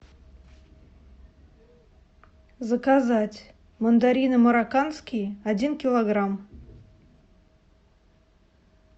заказать мандарины марокканские один килограмм